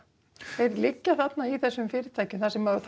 þeir liggja þarna í þessum fyrirtækjum þar sem